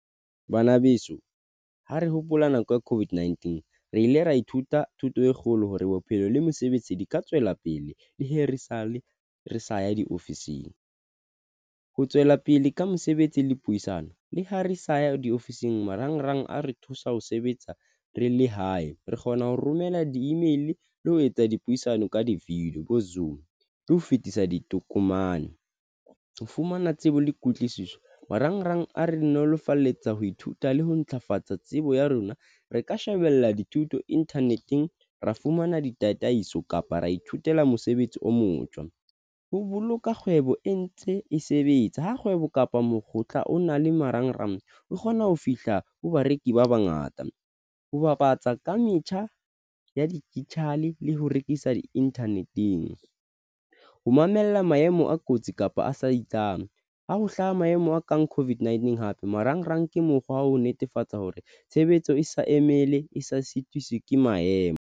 Bana beso, ha re hopola nako ya COVID-19 re ile ra ithuta thuto e kgolo hore bophelo le mosebetsi di ka tswela pele le hee re sale re sa ya diofising, ho tswela pele ka mosebetsi le puisano, le ho re sa ya diofising. Marangrang a re thusa ho sebetsa re le hae re kgona ho romela di-email le ho etsa dipuisano ka di feel bo zoom, le ho fetisa ditokomane. Fumana tsebo le kutlwisiso marangrang. A re nolofaletsa ho ithuta le ho ntlafatsa tsebo tsebo ya rona, Re ka shebella dithuto inthaneteng, ra fumana ditataiso kapa ra ithutela. Mosebetsi o motjha ho boloka kgwebo e ntse e sebetsa ha kgwebo kapa mokotla o na le marangrang, o kgona ho fihla ho bareki ba bangata, ho bapatsa ka metjha ya digital le ho rekisa di-internet-eng ho mamella maemo a kotsi kapa a sa isang ha ho hlaha maemo a kang COVID-19. Hape marangrang ke mokgwa wa ho netefatsa hore tshebetso e sa emele e sa sitiswi ke maemo.